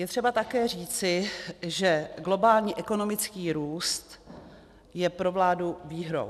Je třeba také říci, že globální ekonomický růst je pro vládu výhrou.